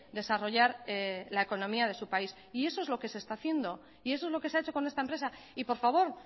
desarrollar la economía de su país y eso es lo que se está haciendo y eso es lo que se ha hecho con esta empresa y por favor